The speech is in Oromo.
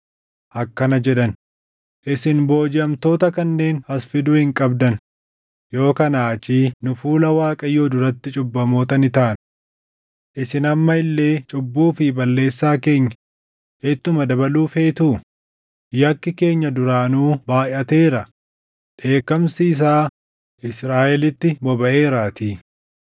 akkana jedhan; “Isin boojiʼamtoota kanneen as fiduu hin qabdan; yoo kanaa achii nu fuula Waaqayyoo duratti cubbamoota ni taana. Isin amma illee cubbuu fi balleessaa keenya ittuma dabaluu feetuu? Yakki keenya duraanuu baayʼateera; dheekkamsi isaa Israaʼelitti bobaʼeeraatii.”